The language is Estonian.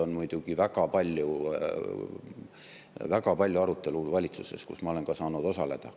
On muidugi valitsuses väga palju arutelu, kus ma olen ka saanud osaleda.